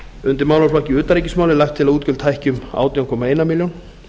undir málaflokki utanríkismála er lagt til að útgjöld hækki um átján komma eina milljón